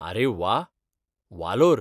अरे व्वा! वालोर.